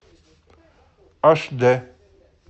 аш д